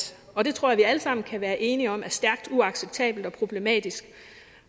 og det tror jeg vi alle sammen kan være enige om er stærkt uacceptabelt og problematisk